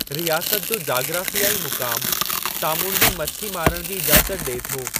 रियासत जो जाग्राफ़ियाई मुक़ामु सामूंडी मछी मारण जी इजाज़त ॾिए थो।